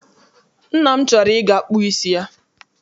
Nna m chọrọ I ga kpụ isi ya.